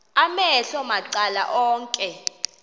amehlo macala onke